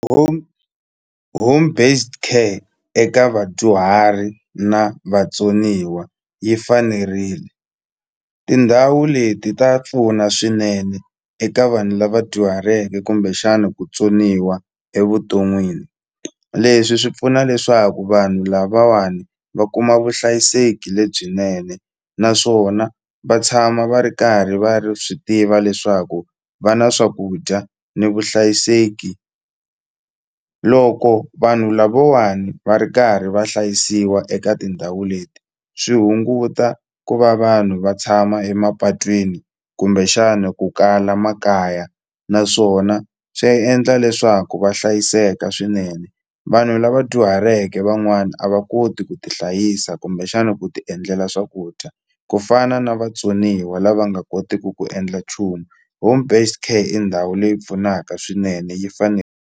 Home home based care eka vadyuhari na vatsoniwa yi fanerile tindhawu leti ta pfuna swinene eka vanhu lava dyuhaleke kumbexana ku tsoniwa evuton'wini leswi swi pfuna leswaku vanhu lavawani va kuma vuhlayiseki lebyinene naswona va tshama va ri karhi va ri swi tiva leswaku va na swakudya ni vuhlayiseki loko vanhu lavawani va ri karhi va hlayisiwa eka tindhawu leti swi hunguta ku va vanhu va tshama emapatwini kumbexani ku kala makaya naswona swi endla leswaku va hlayiseka swinene vanhu lava dyuhaleke van'wana a va koti ku ti hlayisa kumbexana ku ti endlela swakudya ku fana na vatsoniwa lava nga koteku ku endla nchumu home based care i ndhawu leyi pfunaka swinene yi fane.